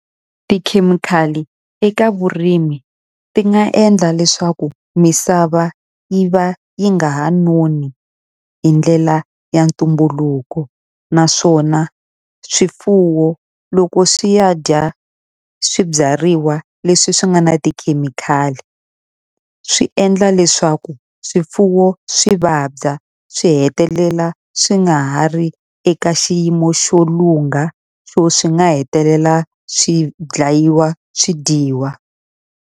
Tikhemikhali eka vurimi ti nga endla leswaku misava yi va yi nga ha noni hi ndlela ya ntumbuluko. Naswona swifuwo loko swi ya dya swibyariwa leswi swi nga na tikhemikhali swi endla leswaku swifuwo swi vabya swi hetelela swi nga ha ri eka xiyimo xo lungha, xo swi nga hetelela swi dlayiwa swi dyiwa.